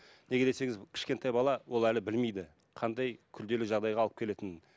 неге десеңіз кішкентай бала ол әлі білмейді қандай күрделі жағдайға алып келетінін